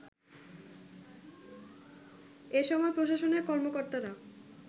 এ সময় প্রশাসনের কর্মকর্তারা